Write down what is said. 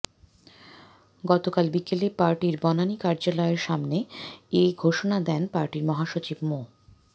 গতকাল বিকেলে পার্টির বনানী কার্যালয়ের সামনে এ ঘোষণা দেন পার্টির মহাসচিব মো